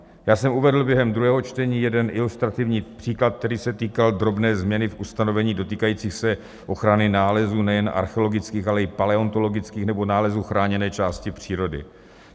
Já jsem uvedl během druhého čtení jeden ilustrativní příklad, který se týkal drobné změny v ustanovení dotýkajících se ochrany nálezů nejen archeologických, ale i paleontologických nebo nálezů chráněné části přírody.